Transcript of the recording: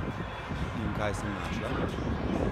In kaj sem našla?